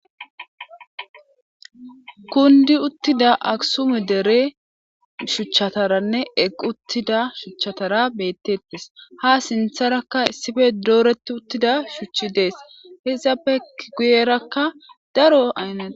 kundi uttida aksume dere shuchchataranne equ uttida shuchchatara bettettes ha sintharakka issife dooreti uttida shuchchi dees hiizapek guyerakka daro aynnada